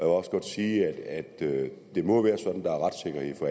også godt sige at det jo må være sådan